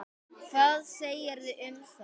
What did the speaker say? Hvað segirðu um það?